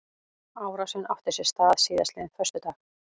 Árásin átti sér stað síðastliðinn föstudag